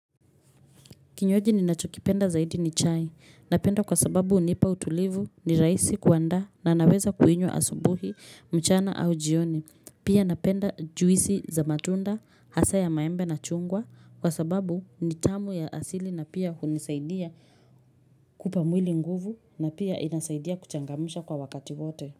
Kinywaji ninachokipenda zaidi ni chai, napenda kwa sababu hunipa utulivu ni rahisi kuanda na naweza kuinywa asubuhi mchana au jioni, pia napenda juisi za matunda, hasa ya maembe na chungwa kwa sababu ni tamu ya asili na pia hunisaidia kupa mwili nguvu na pia inasaidia kuchangamisha kwa wakati wote.